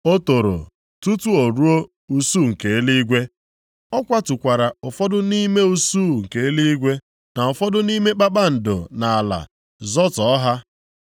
O toro tutu o ruo usuu nke eluigwe. Ọ kwatukwara ụfọdụ nʼime usuu nke eluigwe na ụfọdụ nʼime kpakpando nʼala, zọtọọ ha.